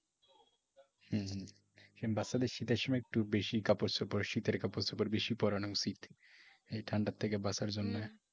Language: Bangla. হুঁ হুঁ । এরকম বাচ্চাদের শীতের সময় একটু বেশি কাপড়চোপড় শীতের কাপড় চোপড় বেশি পরানো উচিত এই ঠান্ডার থেকে বাঁচার জন্য।